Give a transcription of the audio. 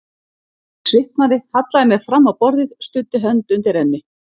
Ég svitnaði, hallaði mér fram á borðið, studdi hönd undir enni.